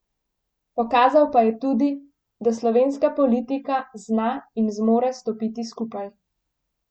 Pokazal pa je tudi, da slovenska politika zna in zmore stopiti skupaj.